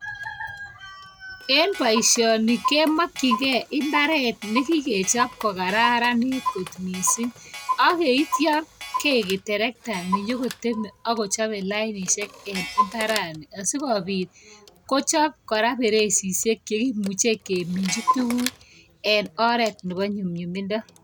En baishoni komakingei imbaret nekikechob kokararanit kot mising akyeityo keib terekta nenyon kochabet lainishek en imbaret niton sikobit kochab koraa bererishek cheimuche keminchi tuguk en oret Nebo nyumnyumindo